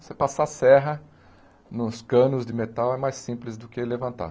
Você passar a serra nos canos de metal é mais simples do que levantar.